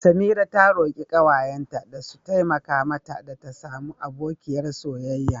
Samira ta roki kawayenta da su taimaka mata ta samu abokiyar soyayya.